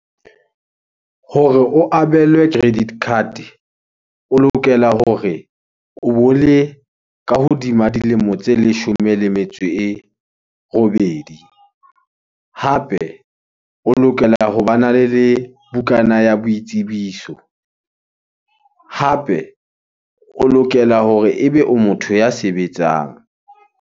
Hore o abelwe credit card, o lokela hore o bo le ka hodima dilemo tse leshome le metso e robedi. Hape o lokela ho bana le bukana ya boitsebiso. Hape o lokela hore ebe o motho ya sebetsang.